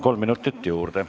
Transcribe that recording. Kolm minutit juurde.